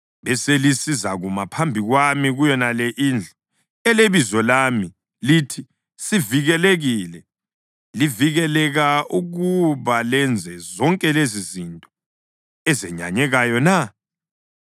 beselisizakuma phambi kwami kuyonale indlu, eleBizo lami, lithi, “Sivikelekile,” livikeleka ukuba lenze zonke lezizinto ezenyanyekayo na?